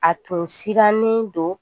A tun sirannen don